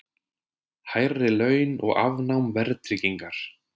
Hærri laun og afnám verðtryggingar